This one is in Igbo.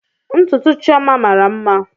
Ntutu Chioma mara mma